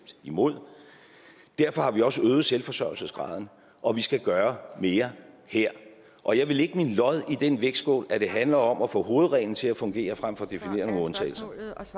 imod derfor har vi også øget selvforsørgelsesgraden og vi skal gøre mere her og jeg vil lægge mit lod i den vægtskål hvor det handler om at få hovedreglen til at fungere frem for at definere nogle undtagelser